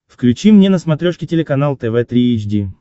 включи мне на смотрешке телеканал тв три эйч ди